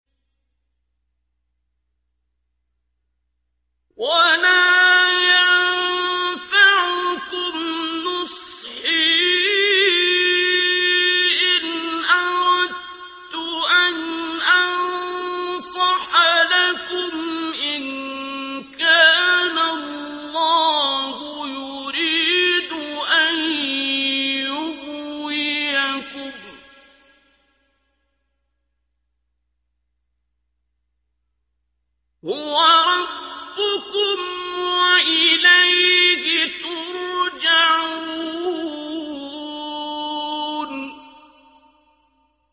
وَلَا يَنفَعُكُمْ نُصْحِي إِنْ أَرَدتُّ أَنْ أَنصَحَ لَكُمْ إِن كَانَ اللَّهُ يُرِيدُ أَن يُغْوِيَكُمْ ۚ هُوَ رَبُّكُمْ وَإِلَيْهِ تُرْجَعُونَ